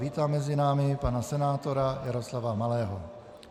Vítám mezi námi pana senátora Jaroslava Malého.